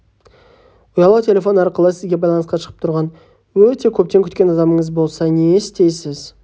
ұялы телефон арқылы сізге байланысқа шығып тұрған өте көптен күткен адамыңыз болса не істейсіз